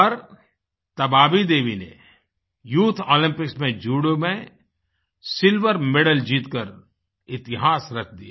पर तबाबी देवी ने youth Olympics में जूडो में सिल्वर मेडल जीत कर इतिहास रच दिया